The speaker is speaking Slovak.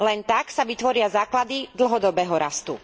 Len tak sa vytvoria základy dlhodobého rastu.